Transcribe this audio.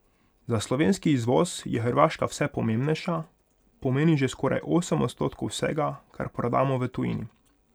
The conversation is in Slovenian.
Za slovenski izvoz je Hrvaška vse pomembnejša, pomeni že skoraj osem odstotkov vsega, kar prodamo v tujini.